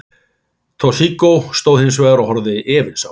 Toshizo stóð hins vegar og horfði efins á.